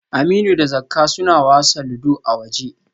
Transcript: Aminu da Zakka suna wasa ludo a waje rhe